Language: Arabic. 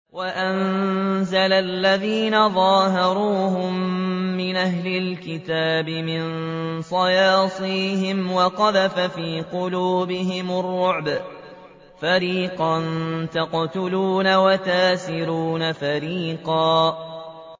وَأَنزَلَ الَّذِينَ ظَاهَرُوهُم مِّنْ أَهْلِ الْكِتَابِ مِن صَيَاصِيهِمْ وَقَذَفَ فِي قُلُوبِهِمُ الرُّعْبَ فَرِيقًا تَقْتُلُونَ وَتَأْسِرُونَ فَرِيقًا